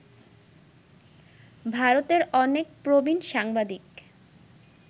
ভারতের অনেক প্রবীণ সাংবাদিক